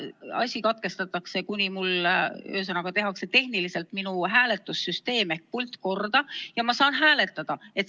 Asi katkestatakse, kuni tehakse tehniliselt minu pult korda ja ma saan hääletada.